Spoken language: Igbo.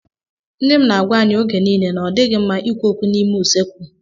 Nne m na-agwá anyị oge niile na ọ dịghị mma ikwu okwu n'ime usekwu.